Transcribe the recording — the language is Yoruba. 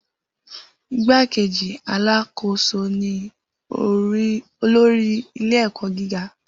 Igbákejì alákòóso ni olórí ilé-ẹ̀kọ́ gíga.